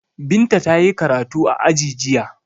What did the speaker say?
Binta ta yi karatu a aji jiya.